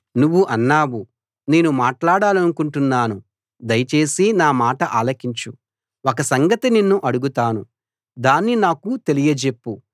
నువ్వు అన్నావు నేను మాట్లాడాలనుకుంటున్నాను దయచేసి నా మాట ఆలకించు ఒక సంగతి నిన్ను అడుగుతాను దాన్ని నాకు తెలియజెప్పు